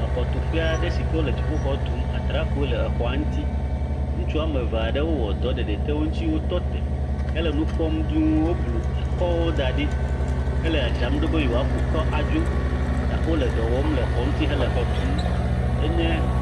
Exɔtuƒe aɖe si ke wole dziƒoxɔ tum, atrakpuiwo le exɔa ŋuti. Ŋutsu woame eve aɖewo wɔ ɖɔ ɖeɖi te wo ŋuti wo tɔ te hele nu kpɔm duu woblu ekɔwo da ɖi hele dzadzram ɖo be yewoaku kɔ adzo, ta wole dɔ wɔm le exɔ ŋuti hele exɔ tum. Enye